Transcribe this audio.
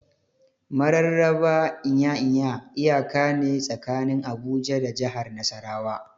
Mararraba Nya-Nya iyaka ne tsakanin Abuja da jahar Nasarawa.